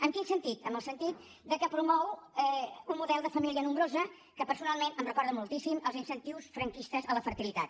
en quin sentit en el sentit que promou un model de família nombrosa que personalment em recorda moltíssim als incentius franquistes a la fertilitat